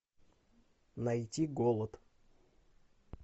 найти голод